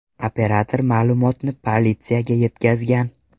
Operator ma’lumotni politsiyaga yetkazgan.